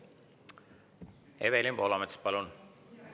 Evelin Poolamets, palun!